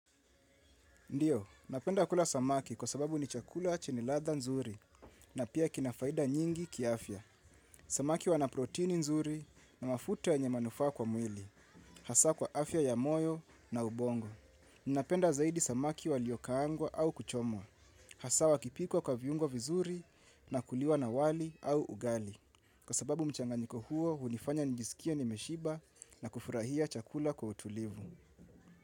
Ndiyo, napenda kula samaki kwa sababu ni chakula chenye ladha nzuri na pia kina faida nyingi kiafya. Samaki wana protini nzuri na mafuta yenye manufaa kwa mwili, hasa kwa afya ya moyo na ubongo. Napenda zaidi samaki waliokaangwa au kuchomwa, hasa wakipikwa kwa viungo vizuri na kuliwa na wali au ugali. Kwa sababu mchanganyiko huo, hunifanya nijisikie nimeshiba na kufurahia chakula kwa utulivu.